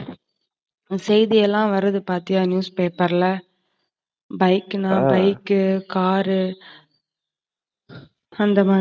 செய்தி எல்லாம் வருது பாத்தியா news paper ல. Bike ல bike க்கு car ரு அந்தமாதிரி